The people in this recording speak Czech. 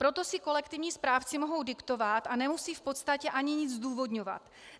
Proto si kolektivní správci mohou diktovat a nemusí v podstatě ani nic zdůvodňovat.